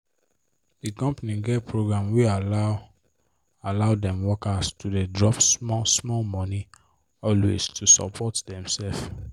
the company get program wey allow allow dem worker to dey drop small small money always to support dem sef